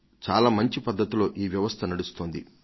అలాగ ఈ ప్రయత్నం ఎంతో శ్రద్ధగా నడుస్తోంది